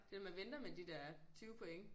Det at man venter med de der 20 points